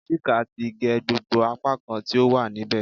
Chika ti ge gbogbo apakan ti o wa nibẹ